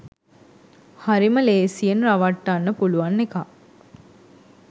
හරිම ලේසියෙන් රවට්ටන්න පුළුවන් එකක්